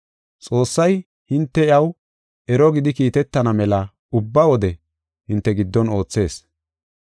Xoossay, hinte iyaw ero gidi kiitetana mela ubba wode hinte giddon oothees.